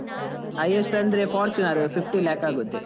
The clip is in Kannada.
Highest ಅಂದ್ರೆ Fortuner fifty lakh ಆಗುತ್ತೆ.